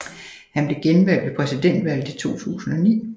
Han blev genvalgt ved præsidentvalget i 2009